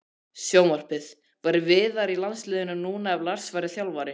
Sjónvarpið: Væri Viðar í landsliðinu núna ef Lars væri þjálfari?